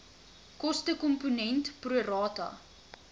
kostekomponent pro rata